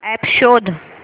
app शोध